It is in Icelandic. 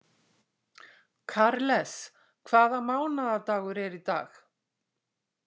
Karles, hvaða mánaðardagur er í dag?